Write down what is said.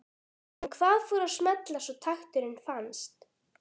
En hvað fór að smella svo takturinn fannst?